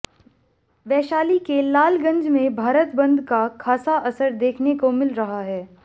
वैशाली के लालगंज में भारत बंद का खासा असर देखने को मिल रहा है